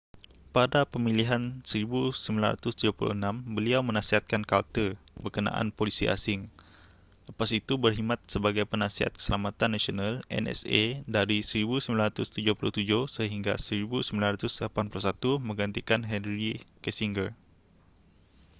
pada pemilihan 1976 beliau menasihatkan carter berkenaan polisi asing lepas itu berkhidmat sebagai penasihat keselamatan nasional nsa dari 1977 sehingga 1981 menggantikan henry kissinger